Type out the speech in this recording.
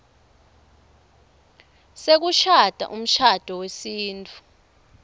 sekushada umshado wesintfu